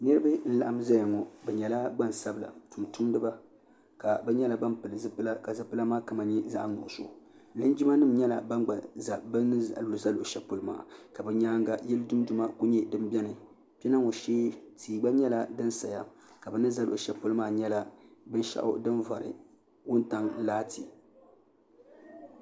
niraba n laɣam ʒɛya ŋɔ bi nyɛla gbansabila tumtumdiba ka bi ni yino pili zipili sabinli linjima nim nyɛla ban gba ʒɛ bi ni ʒɛ luɣu shɛli pɔlɔ maa ka bi nyaanga yili dunduma ku nyɛ din biɛni kpɛna ŋɔ shee tia gba nyɛla din saya ka bi ni ʒɛ luɣu shɛli polo maa nyɛla binshaɣu din vari wuntaŋ laati